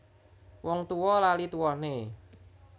Wong tuwa lali tuwane